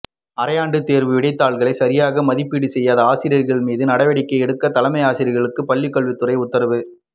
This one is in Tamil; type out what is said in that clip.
அரையாண்டு தேர்வு விடைத்தாள்களை சரியாக மதிப்பீடு செய்யாத ஆசிரியர்கள் மீது நடவடிக்கை எடுக்க தலைமை ஆசிரியர்களுக்கு பள்ளிக்கல்வித்துறை உத்தரவு